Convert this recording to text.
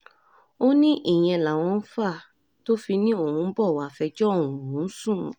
ó ní ìyẹn làwọn ń fà tó fi ní òun ń bọ̀ wàá fẹjọ́ òun sùn